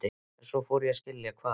En svo fór ég að skilja hvað